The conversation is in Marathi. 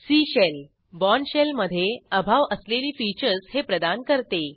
सी शेल बोर्न शेल मधे अभाव असलेली फीचर्स हे प्रदान करते